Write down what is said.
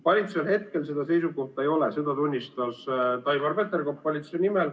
Valitsusel hetkel seda seisukohta ei ole, seda tunnistas Taimar Peterkop valitsuse nimel.